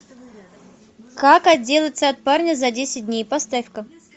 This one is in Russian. как отделаться от парня за десять дней поставь ка